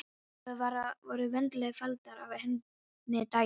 Eða voru vandlega faldar af henni daginn eftir.